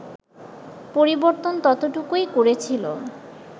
পরিবর্তন ততটুকুই করেছিল